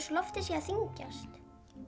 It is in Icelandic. loftið sé að þyngjast